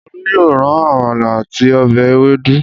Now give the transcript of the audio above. Olú yóò ra àmàlà àti ọbẹ̀ ewédú.